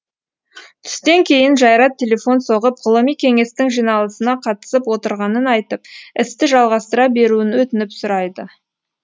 түстен кейін жайрат телефон соғып ғылыми кеңестің жиналысына қатысып отырғанын айтып істі жалғастыра беруін өтініп сұрайды